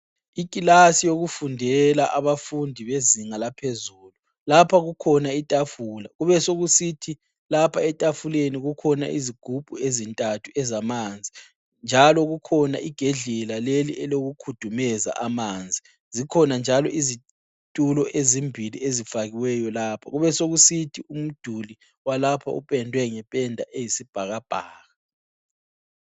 Ikilasi yokufundela abafundi bezinga laphezulu. Lapha kukhona itafula, kubesekusithi lapha etafuleni kukhona zigubhu ezintathu ezamanzi , njalo kukhona igedlela leli elokukhudumeza amanzi. Zikhonanjalo izitulo ezimbili ezifakiweyo lapho. Besekusithi umduli walapho upendwe ngependa eyisibhakabhaka.